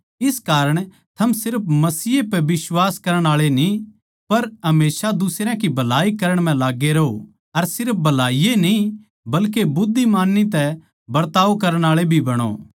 इस कारण थम सिर्फ मसीह पैए बिश्वास करण आळे न्ही पर हमेशा दुसरयां की भलाई करण म्ह लाग्गै रहों अर सिर्फ भलाई ए न्ही बल्के बुध्दिमानी तै बरताव करण आळे भी बणो